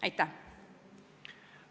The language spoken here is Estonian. Aitäh!